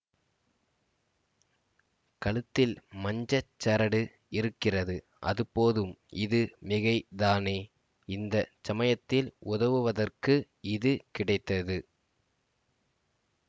கழுத்தில் மஞ்சட் சரடு இருக்கிறது அது போதும் இது மிகை தானே இந்த சமயத்தில் உதவுவதற்கு இது கிடைத்தது